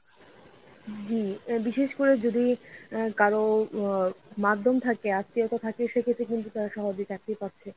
জি বিশেষ করে যদি অ্যাঁ কারো অ্যাঁ মাধ্যম থাকে আত্মীয়তা থাকে সেক্ষেত্রে কিন্তু তারা সহজেই চাকরি পাচ্ছে.